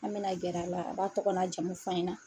An bɛna gɛrɛ a la a b'a tɔgɔ n'a jamu f'an ɲɛna.